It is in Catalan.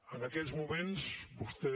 en aquests moments vostè